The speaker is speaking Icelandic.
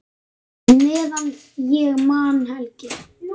Meðan ég man, Helgi.